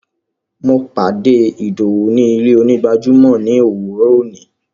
Mo pàdé Ìdọwú ni ilẹ̀-onígbàjàmọ́ ni owúrọ́ ọ̀ní.